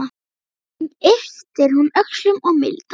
Síðan ypptir hún öxlum og mildast.